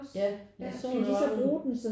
Ja jeg så der var nogen